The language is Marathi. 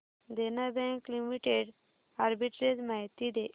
देना बँक लिमिटेड आर्बिट्रेज माहिती दे